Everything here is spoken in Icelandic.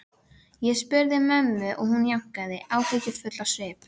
Ég spurði mömmu og hún jánkaði, áhyggjufull á svip.